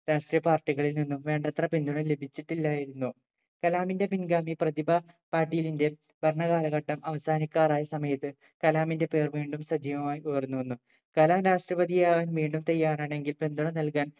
രാഷ്ട്രീയ party കളിൽ നിന്നും വേണ്ടത്ര പിന്തുണ ലഭിച്ചിട്ടില്ലായിരുന്നു കലാമിന്റെ പിൻഗാമി പ്രതിഭ പാട്ടീലിന്റെ ഭരണ കാലഘട്ടം അവസാനിക്കാറായ സമയത്ത് കലാമിന്റെ പേര് വീണ്ടും സജീവമായി ഉയർന്നു വന്നു കലാം രാഷ്‌ട്രപതി ആവാൻ വീണ്ടും തയ്യാറാണെങ്കിൽ പിന്തുണ നൽകാൻ